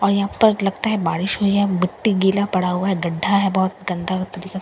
और यहाँ पर लगता हैं बारिश हुई हैं मिट्टी गीला पडा हुआ हैं गड्डा हैं बहुत गंदा तरीका से --